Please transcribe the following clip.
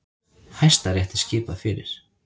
Hæstarétti skipað fyrir